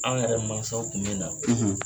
Anw yɛrɛ mansaw tun bɛ na